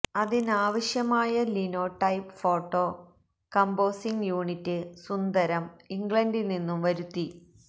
അതിനാവശ്യമായ linotype photo composing unit Sundaram ഇംഗ്ലണ്ടില്നിന്നും വരുത്തി